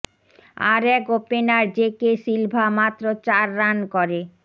আর এক ওপেনার জেকে সিলভা মাত্র চার রান করে